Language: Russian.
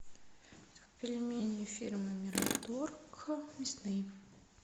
пельмени фирмы мираторг мясные